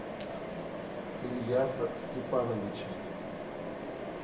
ильяса степановича